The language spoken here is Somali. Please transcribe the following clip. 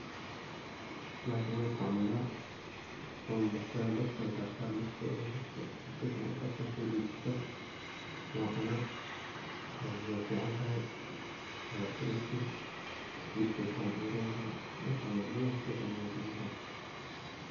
Bahashan wan isticmala wan babax sadaa, dabkan saarta, markaa ay burto oo si fican uu kartaa. so dajista wan cunaa wey fican tahay waa protein jirkey si fican ogu rontahay wan istic malna adhi bahasha tu fican waye, wey fican tahay.